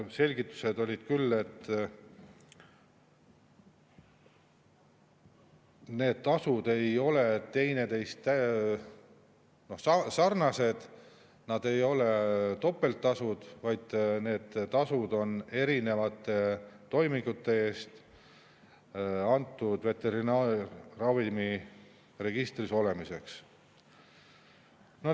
Selgitused olid küll, et need tasud ei ole teineteisega sarnased, nad ei ole topelttasud, vaid need tasud on erinevate toimingute eest, antud veterinaarravimi registris olemiseks.